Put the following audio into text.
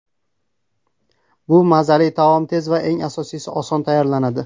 Bu mazali taom tez va eng asosiysi, oson tayyorlanadi.